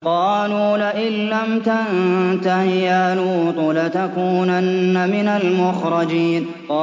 قَالُوا لَئِن لَّمْ تَنتَهِ يَا لُوطُ لَتَكُونَنَّ مِنَ الْمُخْرَجِينَ